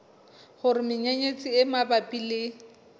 hore menyenyetsi e mabapi le